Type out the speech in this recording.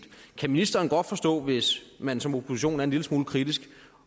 kan ministeren godt forstå hvis man som opposition er en lille smule kritisk